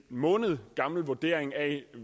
måned gammel vurdering af